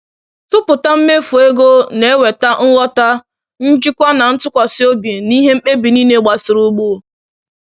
tụpụta mmefu ego na-eweta nghọta, njikwa, na ntụkwasị obi n’ihe mkpebi niile gbasara ugbo.